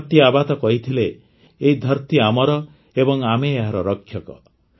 ଧରତୀ ଆବା ତ କହିଥିଲେ ଏହି ଧରତୀ ଆମର ଏବଂ ଆମେ ଏହାର ରକ୍ଷକ